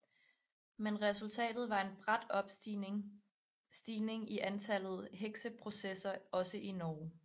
Men resultatet var en brat stigning i antal hekseprocesser også i Norge